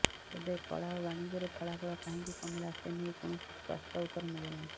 ତେବେ କଳା ଓ ବାଣିଜ୍ୟରେ ଫଳାଫଳ କାହିଁକି କମିଲା ସେନେଇ କୌଣସି ସ୍ପଷ୍ଟ ଉତ୍ତର ମିଳିନାହିଁ